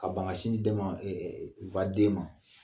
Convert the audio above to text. Ka ban ka sin di den ma u ka den ma.